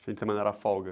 Fim de semana era folga?